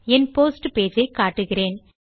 என் post page ஐ காட்டுகிறேன்